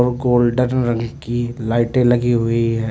Golden रंग की लाइटें लगी हुईं हैं।